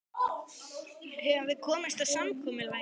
Höfum við komist að samkomulagi?